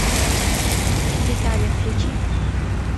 детали включи